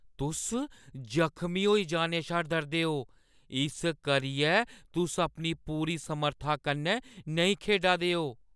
तुस जख्मी होई जाने शा डरदे ओ, इस करियै तुस अपनी पूरी समर्था कन्नै नेईं खेढा दे ओ ।